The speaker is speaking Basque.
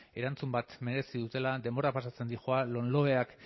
erantzun bat merezi dutela denbora pasatzen doa lomloek